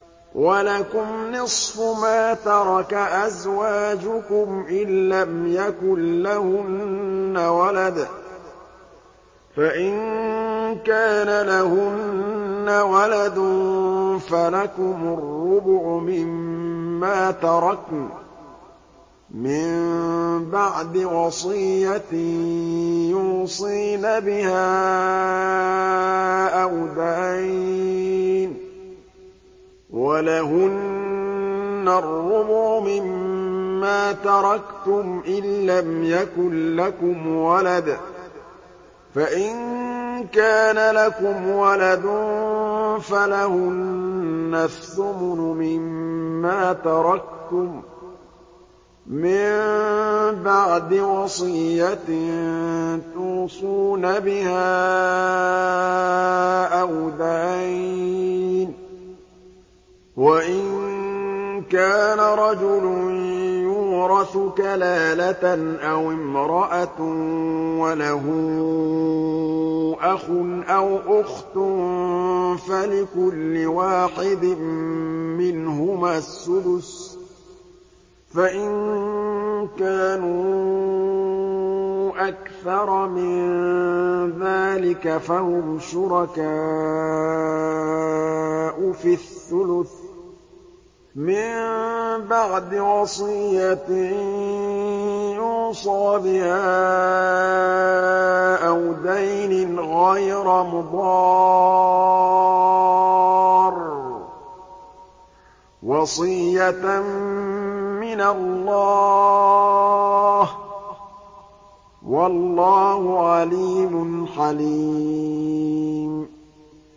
۞ وَلَكُمْ نِصْفُ مَا تَرَكَ أَزْوَاجُكُمْ إِن لَّمْ يَكُن لَّهُنَّ وَلَدٌ ۚ فَإِن كَانَ لَهُنَّ وَلَدٌ فَلَكُمُ الرُّبُعُ مِمَّا تَرَكْنَ ۚ مِن بَعْدِ وَصِيَّةٍ يُوصِينَ بِهَا أَوْ دَيْنٍ ۚ وَلَهُنَّ الرُّبُعُ مِمَّا تَرَكْتُمْ إِن لَّمْ يَكُن لَّكُمْ وَلَدٌ ۚ فَإِن كَانَ لَكُمْ وَلَدٌ فَلَهُنَّ الثُّمُنُ مِمَّا تَرَكْتُم ۚ مِّن بَعْدِ وَصِيَّةٍ تُوصُونَ بِهَا أَوْ دَيْنٍ ۗ وَإِن كَانَ رَجُلٌ يُورَثُ كَلَالَةً أَوِ امْرَأَةٌ وَلَهُ أَخٌ أَوْ أُخْتٌ فَلِكُلِّ وَاحِدٍ مِّنْهُمَا السُّدُسُ ۚ فَإِن كَانُوا أَكْثَرَ مِن ذَٰلِكَ فَهُمْ شُرَكَاءُ فِي الثُّلُثِ ۚ مِن بَعْدِ وَصِيَّةٍ يُوصَىٰ بِهَا أَوْ دَيْنٍ غَيْرَ مُضَارٍّ ۚ وَصِيَّةً مِّنَ اللَّهِ ۗ وَاللَّهُ عَلِيمٌ حَلِيمٌ